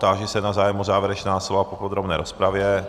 Táži se na zájem o závěrečná slova po podrobné rozpravě.